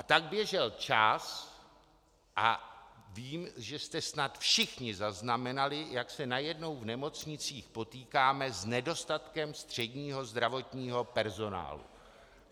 A tak běžel čas a vím, že jste snad všichni zaznamenali, jak se najednou v nemocnicích potýkáme s nedostatkem středního zdravotního personálu.